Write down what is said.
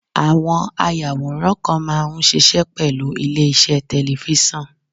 Àwọn ayàwòrán kan máa ń ṣiṣẹ́ pẹ̀lú ilé-iṣẹ́ tẹ̀lifísàn